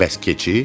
Bəs keçi?